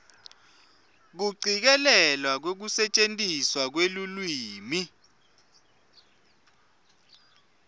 kucikelelwa kwekusetjentiswa kwelulwimi